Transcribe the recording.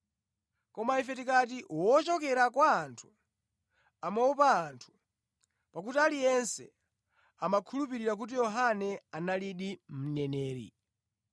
Koma ife tikati, ‘Wochokera kwa anthu.’ ” (Amaopa anthu, pakuti aliyense amakhulupirira kuti Yohane analidi mneneri).